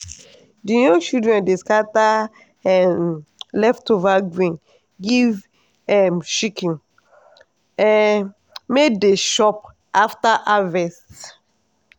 the young children dey scatter um leftover grain give um chicken um may dey chop after harvest.